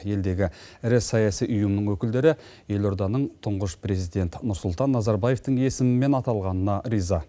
елдегі ірі саяси ұйымның өкілдері елорданың тұңғыш президент нұрсұлтан назарбаевтың есімімен аталғанына риза